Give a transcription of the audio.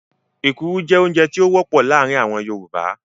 Ekuru jẹ́ oúnjẹ tí ó wọ́pọ̀ láàrin àwọn Yorùbá.